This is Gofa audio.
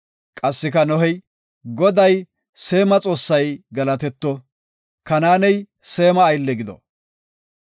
Qassika Nohey, “Goday, Seema Xoossay galatetto! Kanaaney Seema aylle gido;